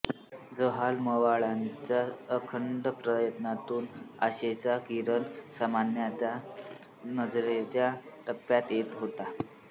जहाल मवाळांच्या अखंड प्रयत्नातून आशेचा किरण सामान्यांच्या नजरेच्या टप्प्यात येत होता